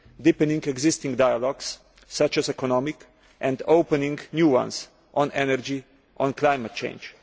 deepening existing dialogues such as economic dialogue and opening new ones on energy and climate change.